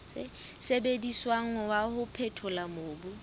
sebediswang wa ho phethola mobu